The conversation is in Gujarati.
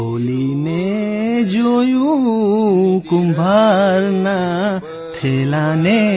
ખોલીને જોયું કુંભારના થેલાને